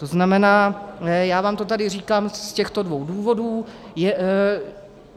To znamená já vám to tady říkám z těchto dvou důvodů.